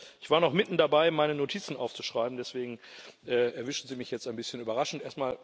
Ich war noch mitten dabei, meine Notizen aufzuschreiben, deswegen erwischen Sie mich jetzt ein bisschen überraschend.